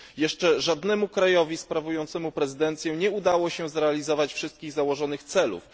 Jeszcze żadnemu państwu sprawującemu prezydencję nie udało się zrealizować wszystkich założonych celów.